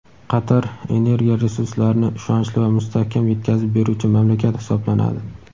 Qatar energiya resurslarini ishonchli va mustahkam yetkazib beruvchi mamlakat hisoblanadi.